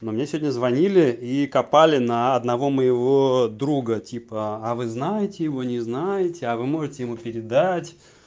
но мне сегодня звонили и копали на одного моего друга типа а вы знаете его не знаете а вы можете ему передать